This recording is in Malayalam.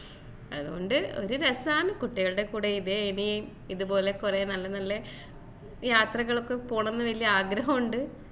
അത്കൊണ്ട് ഒരു രസാണ് കുട്ടികളുടെ കൂടെ ഇനീം ഇത്പോലെ കുറെ നല്ല നല്ല യാത്രകളൊക്കെ പോണം ന്ന് വല്യ ആഗ്രഹം ഉണ്ട്